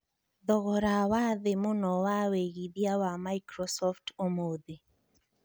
thogora wa thĩĩ mũno wa wĩĩgĩthĩa wa Microsoft ũmũthi